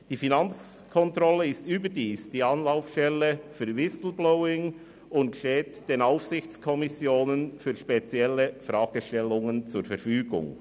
Die Finanzkontrolle ist überdies die Anlaufstelle für Whistleblowing und steht den Aufsichtskommissionen für spezielle Fragestellungen zur Verfügung.